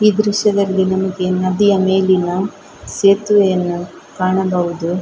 ಈ ದ್ರಶ್ಯದಲ್ಲಿ ನಮಗೆ ನದಿಯ ಮೇಲಿನ ಸೇತುವೆಯನ್ನು ಕಾಣಬಹುದು .